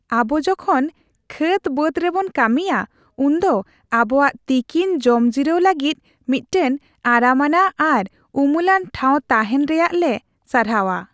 ᱟᱵᱚ ᱡᱚᱠᱷᱚᱱ ᱠᱷᱮᱛᱼᱵᱟᱹᱫ ᱨᱮᱵᱚᱱ ᱠᱟᱹᱢᱤᱭᱟ ᱩᱱᱫᱚ ᱟᱵᱚᱣᱟᱜ ᱛᱤᱠᱤᱱ ᱡᱚᱢ ᱡᱤᱨᱟᱹᱣ ᱞᱟᱹᱜᱤᱫ ᱢᱤᱫᱴᱟᱝ ᱟᱨᱟᱢᱟᱱᱟᱜ ᱟᱨ ᱩᱢᱩᱞᱟᱱ ᱴᱷᱟᱣ ᱛᱟᱦᱮᱱ ᱨᱮᱭᱟᱜ ᱞᱮ ᱥᱟᱨᱦᱟᱣᱟ ᱾